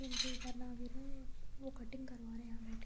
उनके ऊपर ना गिरे और वो कटिंग करवा रहे यहाँ बैठके --